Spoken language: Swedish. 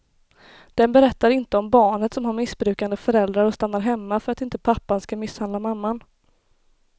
Den berättar inte om barnet som har missbrukande föräldrar och stannar hemma för att inte pappan ska misshandla mamman.